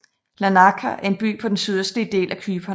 Larnaca er en by på den sydøstlige del af Cypern